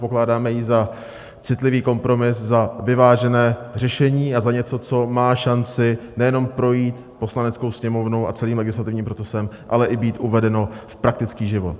Pokládáme ji za citlivý kompromis, za vyvážené řešení a za něco, co má šanci nejenom projít Poslaneckou sněmovnou a celým legislativním procesem, ale i být uvedeno v praktický život.